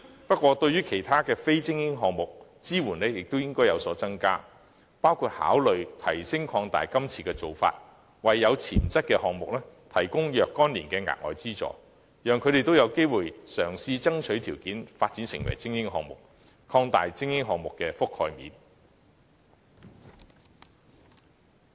不過，我更樂見政府對其他非精英項目的支援亦應有所增加，包括考慮擴大資助範圍，為有潛質的項目提供若干年的額外資助，讓他們也有機會嘗試爭取條件，發展成為精英項目，從而擴大精英項目的覆蓋面。